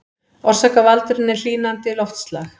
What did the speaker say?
Orsakavaldurinn er hlýnandi loftslag